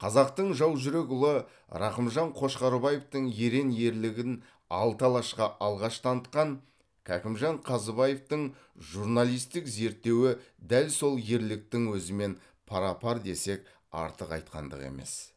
қазақтың жаужүрек ұлы рақымжан қошқарбаевтың ерен ерлігін алты алашқа алғаш танытқан кәкімжан қазыбаевтың журналистік зерттеуі дәл сол ерліктің өзімен пара пар десек артық айтқандық емес